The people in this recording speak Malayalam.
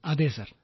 അതെ സർ